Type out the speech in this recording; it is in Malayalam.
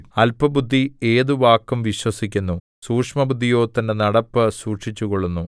അല്പബുദ്ധി ഏത് വാക്കും വിശ്വസിക്കുന്നു സൂക്ഷ്മബുദ്ധിയോ തന്റെ നടപ്പ് സൂക്ഷിച്ചുകൊള്ളുന്നു